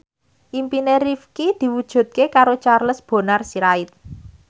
impine Rifqi diwujudke karo Charles Bonar Sirait